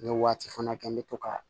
N bɛ waati fana kɛ n bɛ to ka